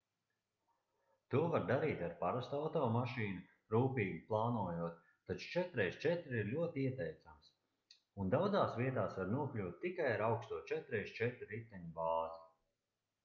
to var darīt ar parastu automašīnu rūpīgi plānojot taču 4x4 ir ļoti ieteicams un daudzās vietās var nokļūt tikai ar augsto 4x4 riteņu bāzi